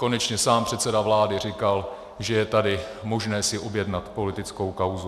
Konečně sám předseda vlády říkal, že je tady možné si objednat politickou kauzu.